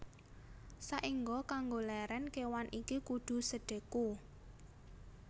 Saéngga kanggo lèrèn kéwan iki kudu sedheku